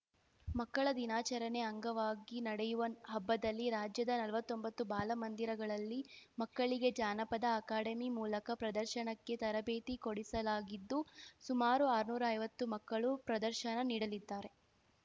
ಮಕ್ಕಳ ದಿನಾಚರಣೆ ಅಂಗವಾಗಿ ನಡೆಯುವ ಹಬ್ಬದಲ್ಲಿ ರಾಜ್ಯದ ನಲ್ವತ್ತೊಂಬತ್ತು ಬಾಲ ಮಂದಿರಗಳಲ್ಲಿ ಮಕ್ಕಳಿಗೆ ಜಾನಪದ ಅಕಾಡೆಮಿ ಮೂಲಕ ಪ್ರದರ್ಶನಕ್ಕೆ ತರಬೇತಿ ಕೊಡಿಸಲಾಗಿದ್ದು ಸುಮಾರು ಆರ್ನೂರೈವತ್ತು ಮಕ್ಕಳು ಪ್ರದರ್ಶನ ನೀಡಲಿದ್ದಾರೆ